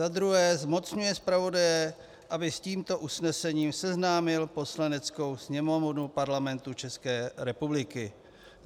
Za druhé, zmocňuje zpravodaje, aby s tímto usnesením seznámil Poslaneckou sněmovnu Parlamentu České republiky.